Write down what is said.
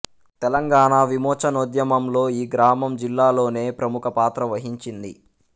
తెలంగాణ విమోచనోద్యమంలో ఈ గ్రామం జిల్లాలోనే ప్రముఖ పాత్ర వహించింది